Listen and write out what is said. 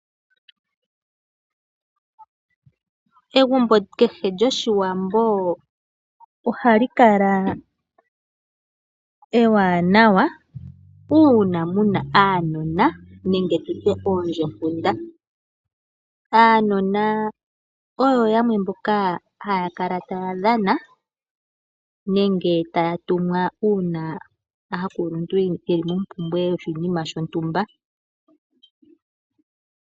Egumbo kehe lyoshiwambo ohali kala ewanawa uuna muna aanona nenge tutye oondjepunda. Aanona oyo yamwe mboka haya kala taya dhana nenge taya tumwa uuna aakuluntu yeli momumbwe yoshinima shontumba.